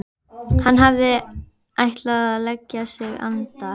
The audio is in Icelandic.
Hann hafði ætlað að leggja sig andar